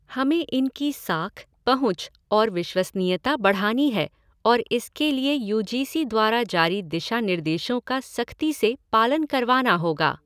हमें इनकी साख, पंहुच और विश्वसनीयता बढ़ानी है और इसके लिए यू जी सी द्वारा जारी दिशा निर्देशों का सख्ती से पालन करवाना होगा।